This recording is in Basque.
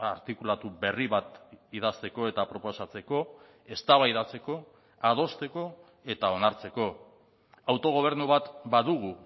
artikulatu berri bat idazteko eta proposatzeko eztabaidatzeko adosteko eta onartzeko autogobernu bat badugu